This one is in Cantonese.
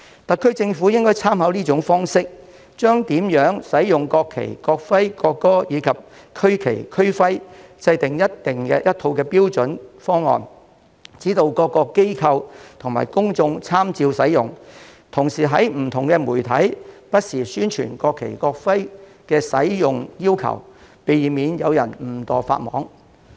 特區政府應參考此種方式，就如何使用國旗、國徽、國歌和區旗、區徽制訂一套標準方案，指導各機構及公眾人士參照使用，並同時在不同媒體不時宣傳國旗、國徽的使用要求，避免有人誤墮法網。